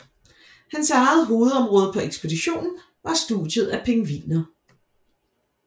Hans eget hovedområde på ekspeditionen var studiet af pingviner